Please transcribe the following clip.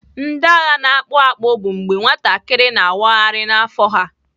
Ndị agha na-akpụ akpụ bụ mgbe nwatakịrị na-awagharị n'afọ ha.